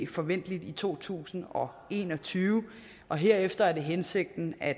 forventeligt i to tusind og en og tyve og herefter er det hensigten at